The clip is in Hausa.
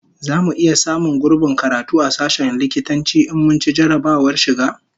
Zamu iya samun gurbin karatu a sashen likitanci in mun ci jarrabawar shiga?